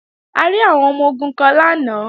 A rí àwọn ọmọ-ogun kan lánàá